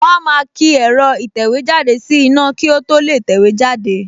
Wọ́n á máa ki ẹ̀rọ ìtẹ̀wéjáde sí iná kí ó tó lè tẹ̀wé jáde